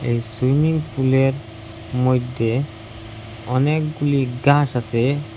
এই সুইমিং পুলের মইদ্যে অনেকগুলি গাস আসে।